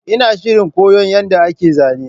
Ina shirin koyon yadda ake zane